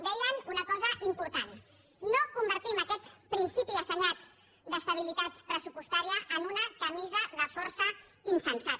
deien una cosa important no convertim aquest principi assenyat d’estabilitat pressupostària en una camisa de força insensata